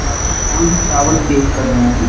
हलाकी काम ही चावल के कर रहें हैं।